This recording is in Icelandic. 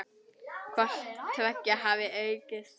Hvort tveggja hafi aukist.